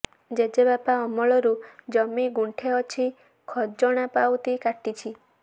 ଜେଜେବାପା ଅମଳରୁ ଜମି ଗୁଣ୍ଠେ ଅଛି ଖଜଣା ପାଉତି କାଟିଛି